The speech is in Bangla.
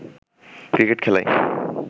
ক্রিকেট খেলায়